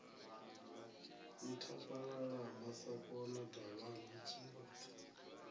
nthabalala ha masakona davhana tshimbupfe